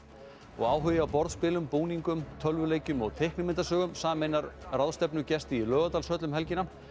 áhugi á borðspilum búningum tölvuleikjum og teiknimyndasögum sameinar ráðstefnugesti í Laugardalshöll um helgina